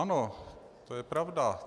Ano, to je pravda.